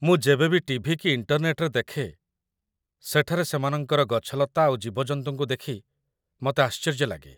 ମୁଁ ଯେବେ ବି ଟିଭି କି ଇଣ୍ଟରନେଟ୍‌ରେ ଦେଖେ ସେଠାରେ ସେମାନଙ୍କର ଗଛଲତା ଆଉ ଜୀବଜନ୍ତୁଙ୍କୁ ଦେଖି ମତେ ଆଶ୍ଚର୍ଯ୍ୟ ଲାଗେ ।